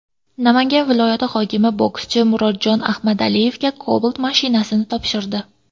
Namangan viloyati hokimi bokschi Murodjon Ahmadaliyevga Cobalt avtomashinasini topshirdi.